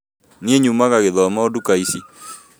Niĩ nyumaga gĩthumo ndukũ icĩ